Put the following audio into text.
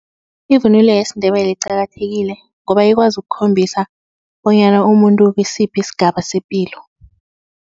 Ivunulo yesiNdebele iqakathekile ngoba ikwazi ukukhombisa bonyana umuntu ukisiphi sigaba sepilo.